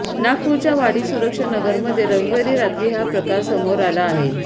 नागपुरच्या वाडी सुरक्षा नगरमध्ये रविवारी रात्री हा प्रकार समोर आला आहे